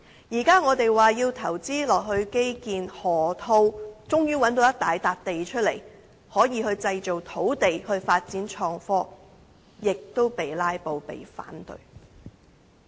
現在我們說要投資基建，終於在河套找到一大幅土地，可以製造土地，以供發展創科，但亦遭遇"拉布"和反對。